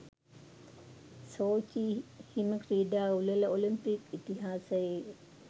‘Sochi’ හිම ක්‍රීඩා උළෙල ඔලිම්පික් ඉතිහාසයේ